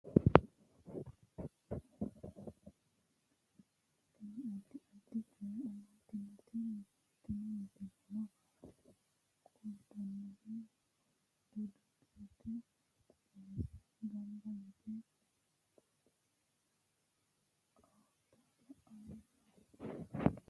tini misile maa xawissannoro mito mittonkaricho kulummoro tini addi addicoy amaddinote tini misileno kultannori ortodokisete qeese gamba yite oota la'anni noommo